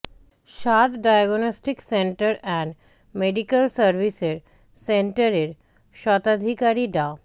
Saad diagnostic centre and medical services সেন্টারের স্বত্বাধিকারী ডা